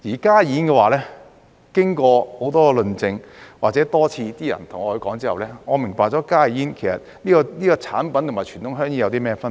加熱煙的話，經過很多論證或人們多次對我說之後，我明白到加熱煙這種產品與傳統香煙有甚麼分別。